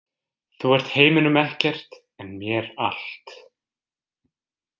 Þú ert heiminum ekkert en mér allt.